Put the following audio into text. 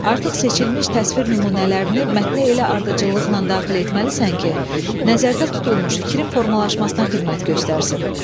Artıq seçilmiş təsvir nümunələrini mətnə elə ardıcıllıqla daxil etməlisən ki, nəzərdə tutulmuş fikrin formalaşmasına xidmət göstərsin.